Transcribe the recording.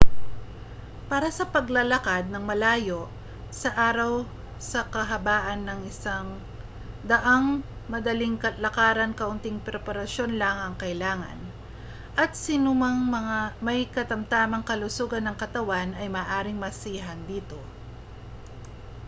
para sa paglalakad nang malayo sa araw sa kahabaan ng isang daanang madaling lakaran kaunting preparasyon lang ang kinakailangan at sinumang may katamtamang kalusugan ng katawan ay maaaring masiyahan dito